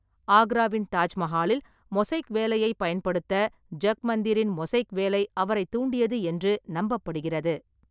ஆக்ராவின் தாஜ்மஹாலில் மொசைக் வேலையைப் பயன்படுத்த ஜக்மந்திரின் மொசைக் வேலை அவரைத் தூண்டியது என்று நம்பப்படுகிறது.